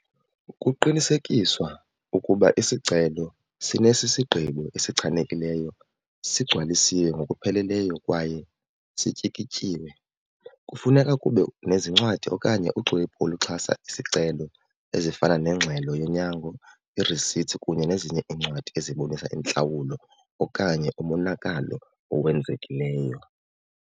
Kuqinisekiswa ukuba isicelo sinesisi gqibo esichanekileyo sigcwalisiwe ngokupheleleyo kwaye sityikityiwe. Kufuneka kube nezincwadi okanye uxwebhu oluxhasa isicelo ezifana nengxelo yonyango, i-receipts kunye nezinye iincwadi ezibonisa intlawulo okanye umonakalo owenzekileyo.